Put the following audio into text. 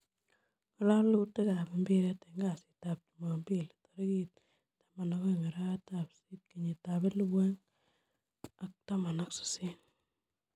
Ngalalutik ab mpiret en kasitap chumapili tarikiit 12.08.2018